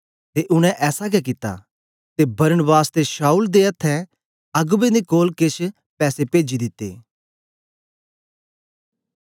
ते उनै ऐसा गै कित्ता ते बरनबास ते शाऊल दे अथ्थें अगबें दे कोल केछ पैसे पेजी दिते